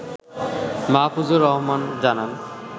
মাহফুজুর রহমান জানান